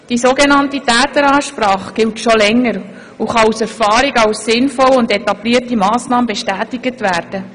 Die sogenannte «Täteransprache» gibt es schon seit einiger Zeit und kann aus Erfahrung als sinnvolle und etablierte Massnahme bestätigt werden.